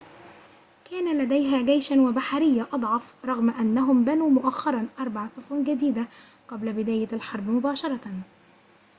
كان لديها جيشًا وبحرية أضعف رغم أنهم بنوا مؤخرًا أربع سفن جديدة قبل بداية الحرب مباشرة